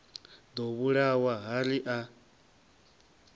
ḓo vhulawa ha ri a